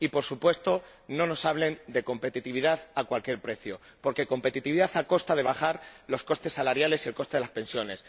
Y, por supuesto, no nos hablen de competitividad a cualquier precio, porque competitividad a costa de bajar los costes salariales y el coste de las pensiones